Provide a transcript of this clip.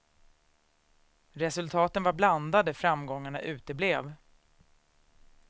Resultaten var blandade, framgångarna uteblev.